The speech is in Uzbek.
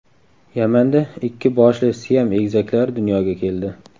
Yamanda ikki boshli Siam egizaklari dunyoga keldi.